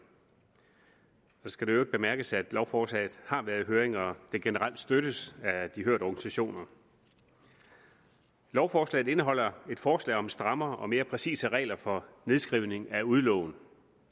så skal det i øvrigt bemærkes at lovforslaget har været i høring og det generelt støttes af de hørte organisationer lovforslaget indeholder et forslag om strammere og mere præcise regler for nedskrivning af udlån